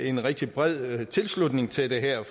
en rigtig bred tilslutning til det her